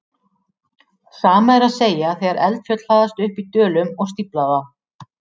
Sama er að segja þegar eldfjöll hlaðast upp í dölum og stífla þá.